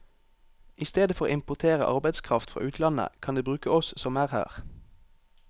I stedet for å importere arbeidskraft fra utlandet, kan de bruke oss som er her.